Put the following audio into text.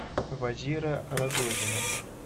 вазира рогозина